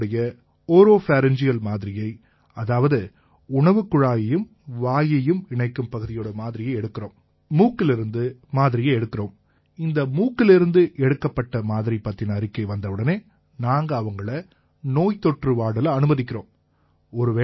இவங்களோட ஒரோபரிங்கியல் மாதிரியை அதாவது உணவுக்குழாயையும் வாயையும் இணைக்கும் பகுதியோட மாதிரியை எடுக்கறோம் மூக்கிலேர்ந்து மாதிரியை எடுக்கறோம் இந்த மூக்கிலேர்ந்து எடுக்கப்பட்ட மாதிரி பத்தின அறிக்கை வந்தவுடனே நாங்க அவங்களை நோய்தொற்று வார்டில அனுமதிக்கறோம்